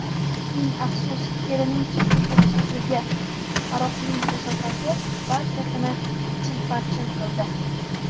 Ming afsus, erining subutsizligi, aroqning kasofati barchasini chilparchin qildi.